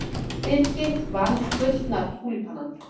Birgit vann Gullna túlípanann